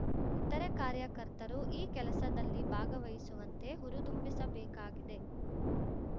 ಇತರೆ ಕಾರ್ಯಕರ್ತರು ಈ ಕೆಲಸದಲ್ಲಿ ಭಾಗವಹಿಸುವಂತೆ ಹುರಿದುಂಬಿಸಬೇಕಾಗಿದೆ